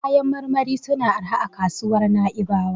Kayan marmari suna da arha a kasuwar Na'ibawa.